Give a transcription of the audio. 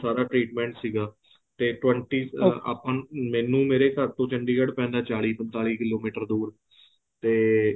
ਸਾਰਾ treatment ਸੀਗਾ ਤੇ twenty ਆਪਾਂ ਨੂੰ ਮੈਨੂੰ ਮੇਰੇ ਘਰ ਤੋਂ ਚੰਡੀਗੜ੍ਹ ਪੈਂਦਾ ਏ ਚਾਲੀ ਪੰਤਾਲੀ ਕਿਲੋਮੀਟਰ ਦੂਰ ਤੇ